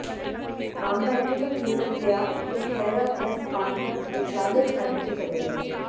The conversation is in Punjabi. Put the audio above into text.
ਮਾਮਲਾ ਇੱਥੋਂ ਤੱਕ ਵਿਗੜ ਗਿਆ ਕਿ ਖਹਿਰਾ ਪ੍ਰੈੱਸ ਕਾਨਫਰੰਸ ਵਿਚਾਲੇ ਛੱਡ ਕੇ ਚਲੇ ਗਏ